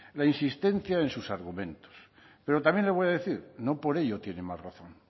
la insistencia en sus argumentos pero también le voy a decir no por ello tiene más razón